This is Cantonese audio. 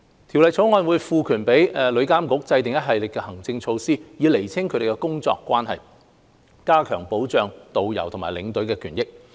《條例草案》會賦權旅監局制訂一系列行政措施，以釐清他們的工作關係，加強保障導遊和領隊的權益。